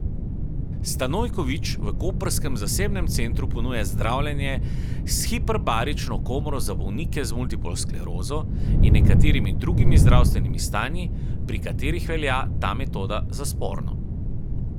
Stanojković v koprskem zasebnem centru ponuja zdravljenje s hiperbarično komoro za bolnike z multiplo sklerozo in nekaterimi drugimi zdravstvenimi stanji, pri katerih velja ta metoda za sporno.